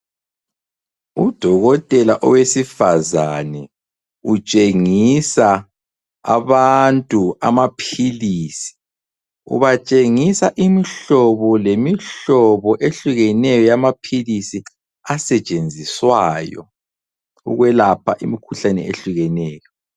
Udokotela owesifazane utshengisa abantu amaphilisi, ubatshengisa imihlobo lemihlobo ehlukeneyo yamaphilisi asetshenziswayo ukwelapha imikhuhlane ehlukeneyo.